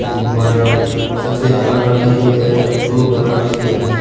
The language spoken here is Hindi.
गुब्बारे सफेद कलर की भी है ब्लू कलर के भी है।